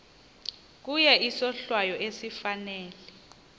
kuye isohlwayo esifanele